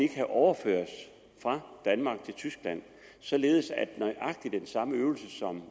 kan overføres fra danmark til tyskland således at nøjagtig den samme øvelse som